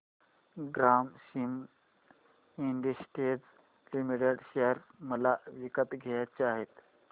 Grasim industries limited share मला विकत घ्यायचे आहेत